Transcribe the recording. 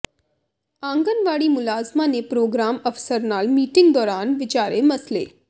ਆਂਗਣਵਾੜੀ ਮੁਲਾਜ਼ਮਾਂ ਨੇ ਪ੍ਰੋਗਰਾਮ ਅਫ਼ਸਰ ਨਾਲ ਮੀਟਿੰਗ ਦੌਰਾਨ ਵਿਚਾਰੇ ਮਸਲੇ